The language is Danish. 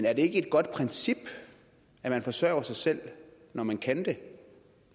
er det ikke et godt princip at man forsørger sig selv når man kan det